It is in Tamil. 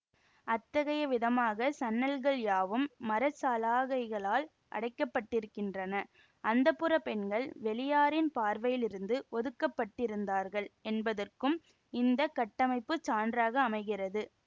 அத்தகைய விதமாக சன்னல்கள் யாவும் மர சலாகைகளால் அடைக்கப்பட்டிருக்கின்றன அந்தப்புரப் பெண்கள் வெளியாரின் பார்வையிலிருந்து ஒதுக்கப்பட்டிருந்தார்கள் என்பதற்கும் இந்த கட்டமைப்பு சான்றாக அமைகிறது